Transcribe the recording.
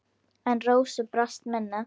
En Rósu brast minnið.